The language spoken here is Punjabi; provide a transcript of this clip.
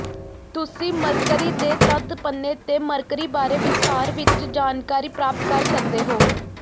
ਤੁਸੀਂ ਮਰਕਰੀ ਦੇ ਤੱਥ ਪੰਨੇ ਤੇ ਮਰਕਰੀ ਬਾਰੇ ਵਿਸਥਾਰ ਵਿਚ ਜਾਣਕਾਰੀ ਪ੍ਰਾਪਤ ਕਰ ਸਕਦੇ ਹੋ